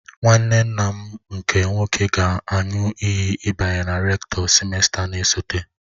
Nwanne nna m nke nwoke ga-aṅụ iyi ịbanye ka Rektọ sịmesta na-esote.